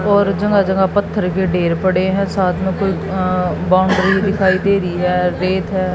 और जगह जगह पत्थर के ढेर पड़े हैं साथ में कोई अं बाउंड्री दिखाई दे रही हैं रेत हैं।